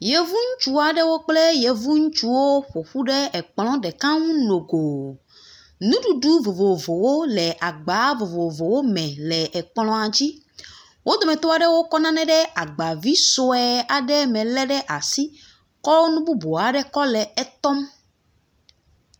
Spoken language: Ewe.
Yevu ŋutsu aɖewo kple yevu ŋutsuwo ƒoƒu ɖe ekplɔ ɖe aɖe ŋu nogo, nuɖuɖu vovovowo le agba vovovowo me le ekplɔa dzi, wo dometɔ aɖewo kɔ nane agba vi sue aɖe me ɖe asi kɔ nu bubu aɖe kɔ le etɔm.